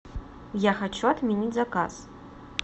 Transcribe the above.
я хочу отменить заказ